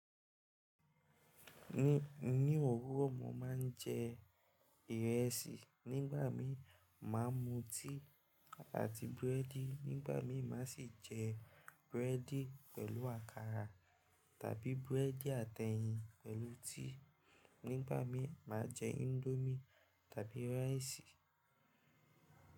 Ní, ní òwúrọ̀, mo máa ń jẹ ìrẹsì. Nígbà mí máa mu tíì àti búrẹ́dì. Nígbà mí máa sì jẹ búrẹ́dì pẹ̀lú àkàrà tàbí búrẹ́dì àti ẹyin pẹ̀lú tíì. Nígbà mí máa jẹ índómì tàbí rice.